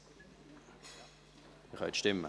: Sie können abstimmen.